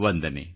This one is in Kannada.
ವಂದನೆ